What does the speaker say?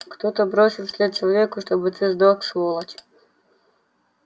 кто-то бросил вслед человеку чтоб ты сдох сволочь